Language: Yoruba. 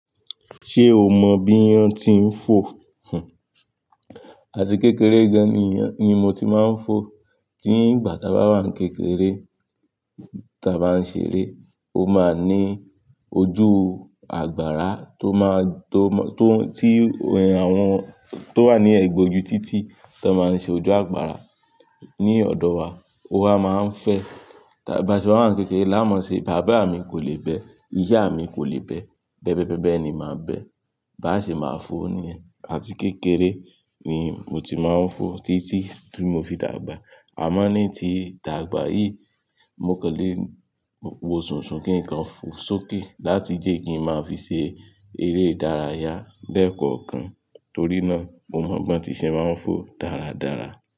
Ṣé o mọ bí iyan ti ń fò? Àti kékeré gan-an ni iyan ni mo ti máa ń fò. Ní ìgbà tí a bá wà kékeré, tí a bá ń ṣeré, ó máa ní ojú agbára tó máa, tó, tó, tí àwọn tó wà ní ẹ̀gbẹ́ ojú títì tó máa ń ṣe ojú agbára ní ọ̀dọ̀ wa. Ó wa máa ń fẹ́. Bá ṣe wà wà n kékeré, la mọ̀ ṣe, bàbá mi kò lè bẹ, ìyá mi kò lè bẹ, bẹ́bẹ́ bẹ́bẹ́ ni máa ń bẹ. Bá ṣe máa fò ni, àti kékeré ni mo ti máa ń fò títí tí mo fi dàgbà. A mọ̀ ní tí dàgbà yìí, mo kan lé, wo sùnsun kí nǹkan fò sókè láti jẹ́ kí n máa fi ṣe eré ìdárayá lẹ́ẹ̀ kọ̀ọ̀kan torí náà mo mọ̀ bí ti ṣè máa ń fò dáradára.